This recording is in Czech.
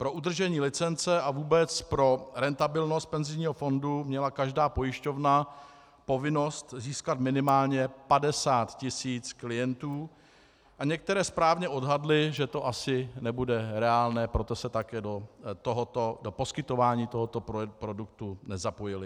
Pro udržení licence a vůbec pro rentabilnost penzijního fondu měla každá pojišťovna povinnost získat minimálně 50 tisíc klientů a některé správně odhadly, že to asi nebude reálné, proto se také do poskytování tohoto produktu nezapojily.